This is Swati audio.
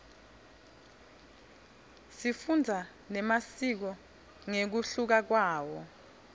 sifundza nemasiko ngekuhluka kwawo